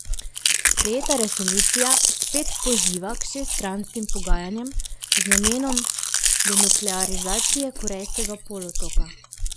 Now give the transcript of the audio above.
Sprejeta resolucija spet poziva k šeststranskim pogajanjem z namenom denuklearizacije Korejskega polotoka.